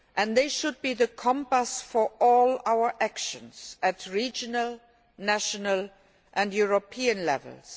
They should be the compass for all our actions at regional, national and European levels.